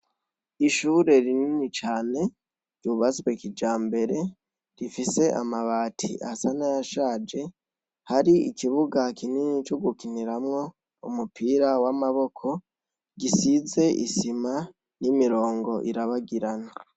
Ishure rinini cane ryubatswe kijambere rifise amabati asa n'ayashaje, hari ikibuga kinini c'ugukiniramwo umupira w'amaboko gisize isima n'imirongo irabagirana.